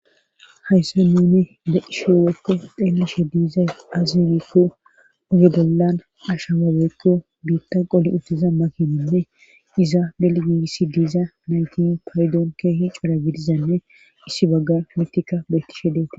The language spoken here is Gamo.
Hayssa nuni deisheoweekko xeelishe diiza azirikku ugedollan asha waweekko biitta qoli uttiza makininne iza beligiigissi diiza nayti paydoon keehi cora gidizanne issi bagga mtika beytishe deeti.